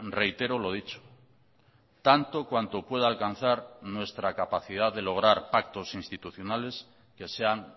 reitero lo dicho tanto cuanto pueda alcanzar nuestra capacidad de lograr pactos institucionales que sean